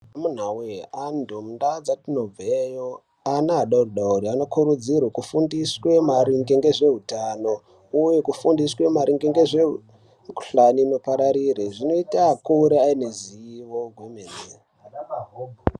Amuna we antu mundau dzatinobva iyo ana adodori anokurudzirwa kufundiswa maringe ngezvehutano uye kufundisa maringe ngezvemikuhlani inopararira zvinoita akure ane ruzivo rwemene.